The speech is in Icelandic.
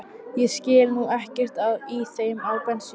Ég skil nú ekkert í þeim á bensín